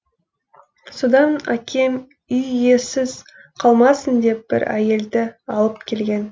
содан әкем үй иесіз қалмасын деп бір әйелді алып келген